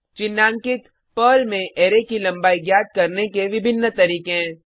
चिन्हांकित पर्ल में अरै की लंबाई ज्ञात करने के विभिन्न तरीके हैं